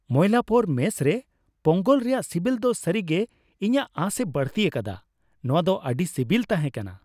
Mylapore mess ᱨᱮ ᱯᱳᱝᱜᱚᱞ ᱨᱮᱭᱟᱜ ᱥᱤᱵᱤᱞ ᱫᱚ ᱥᱟᱹᱨᱤᱜᱮ ᱤᱧᱟᱹᱜ ᱟᱸᱥᱮ ᱵᱟᱹᱲᱛᱤ ᱟᱠᱟᱫᱟ ᱾ ᱱᱚᱶᱟᱫᱚ ᱟᱹᱰᱤ ᱥᱤᱵᱤᱞ ᱛᱦᱟᱮᱸ ᱠᱟᱱᱟ ᱾